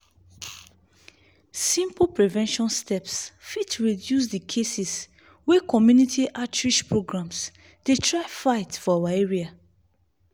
simple prevention steps fit reduce the cases wey community outreach programs dey try fight for our area.